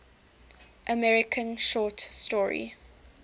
american short story